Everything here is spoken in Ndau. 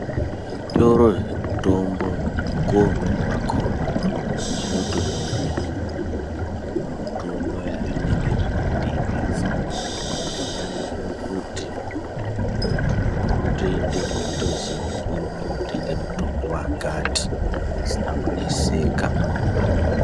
Zvitoro zvemutombo mukuwo umweni wakona zvinotonyore mutombo yazvinenge zveitengesa. Izvi zvakanakire kuti muntu unotoendemwo eitoziye kuti urikundotenge mutombo wakati, zvisina kuneseka.